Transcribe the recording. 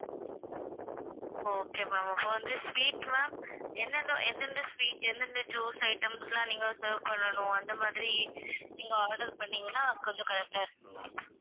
okay ma'am அப்ப வந்து sweet ma'am என்னன்ன~ எந்தெந்த sweet எந்தெந்த juice items லாம் நீங்க serve பண்ணனும் அந்த மாதிரி நீங்க order பண்ணீங்கன்னா கொஞ்சம் correct ஆ இருக்கும் ma'am